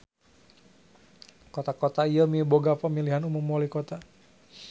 Kota-kota ieu miboga pamilihan umum walikota.